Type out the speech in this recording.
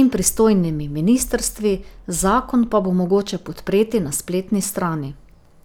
in pristojnimi ministrstvi, zakon pa bo mogoče podpreti na spletni strani.